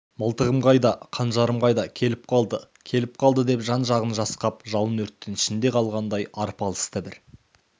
мылтығым қайда қанжарым қайда келіп қалды келіп қалды деп жан-жағын жасқап жалын-өрттің ішінде қалғандай арпалысты бір